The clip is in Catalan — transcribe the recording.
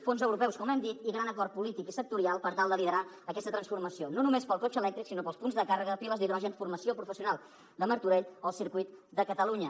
fons europeus com hem dit i gran acord polític i sectorial per tal de liderar aquesta transformació no només pel cotxe elèctric sinó pels punts de càrrega piles d’hidrogen formació professional de martorell o circuit de catalunya